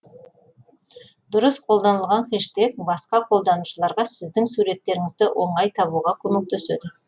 дұрыс қолданылған хэштег басқа қолданушыларға сіздің суреттеріңізді оңай табуға көмектеседі